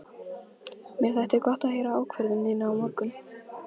Mér þætti gott að heyra ákvörðun þína á morgun.